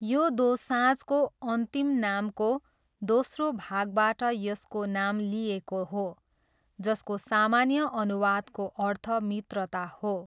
यो दोसाँझको अन्तिम नामको दोस्रो भागबाट यसको नाम लिइएको हो, जसको सामान्य अनुवादको अर्थ 'मित्रता' हो।